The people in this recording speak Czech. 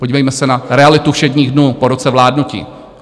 Podívejme se na realitu všedních dnů po roce vládnutí.